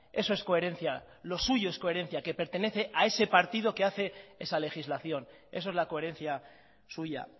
eso es coherencia lo suyo es coherencia que pertenece a ese partido que hace esa legislación eso es la coherencia suya